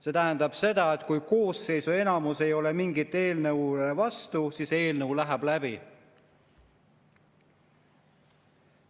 See tähendab seda, et kui koosseisu enamus ei ole mingile eelnõule vastu, siis eelnõu läheb läbi.